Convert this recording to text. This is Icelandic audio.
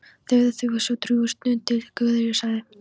Þögðu þau svo drjúga stund þar til Guðríður sagði